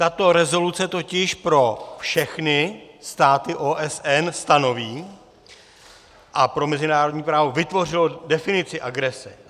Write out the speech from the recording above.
Tato rezoluce totiž pro všechny státy OSN stanoví a pro mezinárodní právo vytvořila definici agrese.